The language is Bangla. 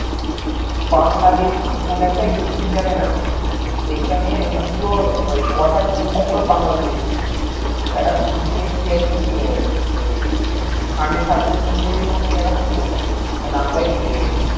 বাংলাদেশি কোন একটা ইউটিউব চ্যানেল আছে। সেই খানে মানে পুরো মানে কথার tone টা পুরো বাংলাদেশির মত। এটা recently ইয়ে হতো মানে একটা হতো। ওই নামটাই ভূলে গিয়েছি।